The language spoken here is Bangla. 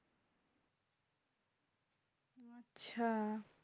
হ্যাঁ